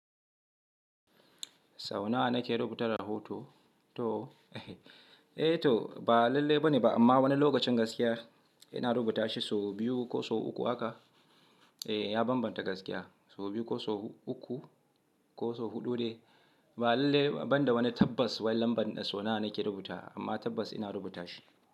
Sau nawa nake rubuta rahoton? Eh to ba lalle bane ba amma wani lokacin gaskiya ina rubuta shi sau biyu ko sau uku haka. Eh, ya bambanta gaskiya sau biyu ko sau uku ko sau huɗu dai ba lalle ba banda wani tabbas wai lambar sau nawa nake rubuta amma tabbas ina rubuta shi.